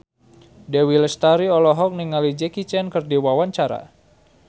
Dewi Lestari olohok ningali Jackie Chan keur diwawancara